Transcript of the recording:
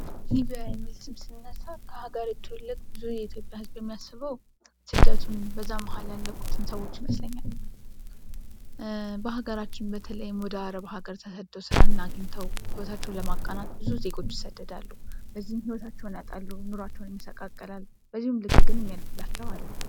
ሊብያ የሚል ስም ሲነሳ ከሀገሪቱ ትልቁ ብዙ የኢትዮጵያ ህዝብ የሚያስበው ስደቱን በዛ መሀል ያለቁትን ሰዎች ይመስለኛል። በሀገራችን በተለይም ወደ አረብ አገር ተሰድው ስራን አግኝተው ሂወታቸውን ለማቃሉ ብዙ ዜጎች ይሰደዳሉ። በዚህም ሂወታቸውን ያጣሉ ኑሯቸውን ይመስቃቀላል በዚህም ልክ ግን የሚያልፍላቸው አሉ።